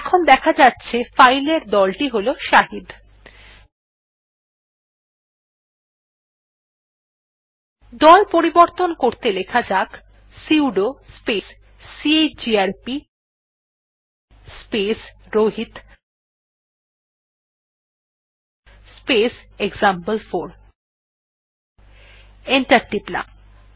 এখন দেখা যাছে ফাইল এর দলটি হল শাহিদ দল পরিবর্তন করতে লেখা যাক sudo space chgrp space Rohit space এক্সাম্পল4 এন্টার টিপলাম